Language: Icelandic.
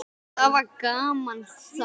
Það var gaman þá.